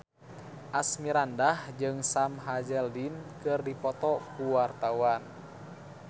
Asmirandah jeung Sam Hazeldine keur dipoto ku wartawan